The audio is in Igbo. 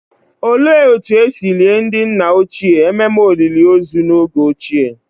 Olee otú e si lie ndị nna ochie ememe olili ozu n'oge ochie?